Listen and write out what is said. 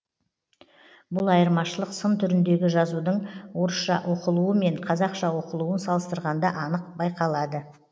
бұл айырмашылық сын түріндегі жазудың орысша оқылуы мен қазақша оқылуын салыстырғанда анық байқалады